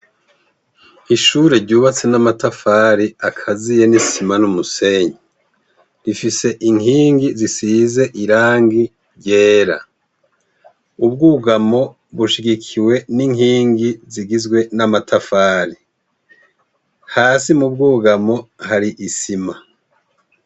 ishure ryubatse n'amatafari akaziye n'isima n'umusenyi, rifise inkingi zisize irangi ryera, ubwegamo bushigikiwe n'inkingi zigizwe n'amatafari, hasi mu bwugamo hari isima.